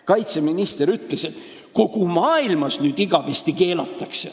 Kaitseminister ütles, et need keelatakse nüüd igavesti kogu maailmas.